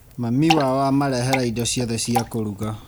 Mami wao amarehera indo ciothe cia kũruga.